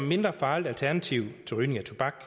mindre farligt alternativ til rygning af tobak